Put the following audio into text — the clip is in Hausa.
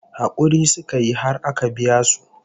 Hakuri suka yi har aka biya su